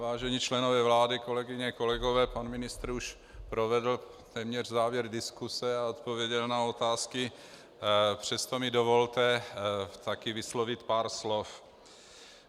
Vážení členové vlády, kolegyně, kolegové, pan ministr už provedl téměř závěr diskuse a odpověděl na otázky, přesto mi dovolte taky vyslovit pár slov.